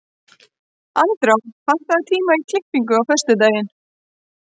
Andrá, pantaðu tíma í klippingu á föstudaginn.